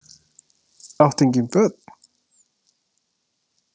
Átt engin börn?